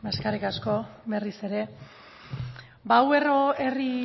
beno eskerrik asko berriz ere ba hau herri